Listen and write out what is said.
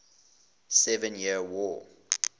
seven years war